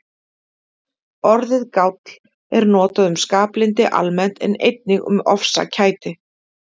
Orðið gáll er notað um skaplyndi almennt en einnig um ofsakæti.